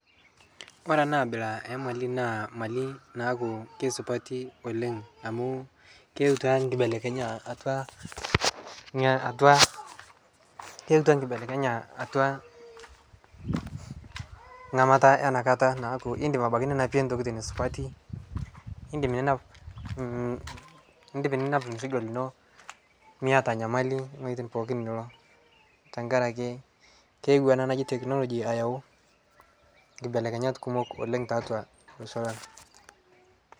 kore anaa abila ee malii naa malii naaku keisupatii oleng amu keutua nkibelekenyaa atua nghamataa enakataa naaku indim ninapie ntokitin supatii indim ninap lmesigoo linoo miataa nyamalii tonghojitin pooki niloo tankarakee keewo anaa najii teknologii ayau nkibelekenyat kumok oleng taatua loshoo lang